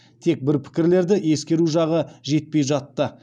тек бұл пікірлерді ескеру жағы жетпей жатты